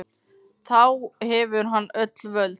Þá hefur hann öll völd.